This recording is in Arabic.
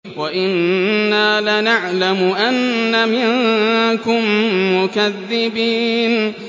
وَإِنَّا لَنَعْلَمُ أَنَّ مِنكُم مُّكَذِّبِينَ